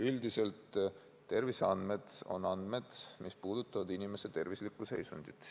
Üldiselt öeldes on terviseandmed andmed, mis puudutavad inimese tervislikku seisundit.